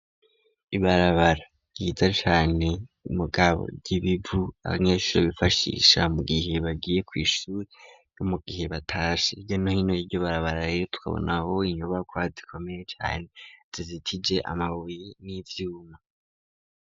Ibarabara ryiza cane mugabo ry'ibivu abanyeshuri bifashisha mu gihe bagiye kw'ishuri mu gihe batashe hirya no hino yiryo barabara tukabonaho inyobako zikomeye cane zijitije amabuye n'ivyuma